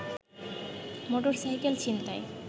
motorcycle ছিনতাই